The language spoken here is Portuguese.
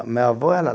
Meu avô era